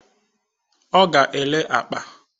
Ọ ga-ere akpa